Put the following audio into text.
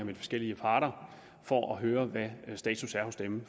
de forskellige parter for at høre hvad status er hos dem